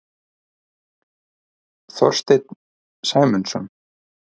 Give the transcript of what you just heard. Þorstein Sæmundsson.